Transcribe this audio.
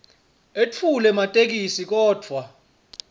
etfule ematheksthi kodvwa